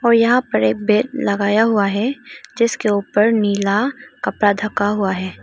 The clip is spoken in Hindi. और यहाँ पर ये बैड लगाया हुआ है जिसके ऊपर नीला कपड़ा ढका हुआ है।